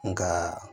Nka